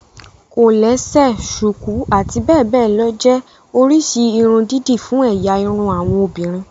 Kòlẹ́sẹ̀, ṣùkú, àti bẹ́ẹ̀ bẹ́ẹ̀ lọ jẹ́ oríṣi irun dídì fún ẹ̀yà irun àwọn obìnrin